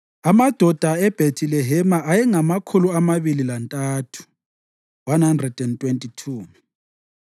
amadoda eBhethilehema ayengamakhulu amabili lantathu (123),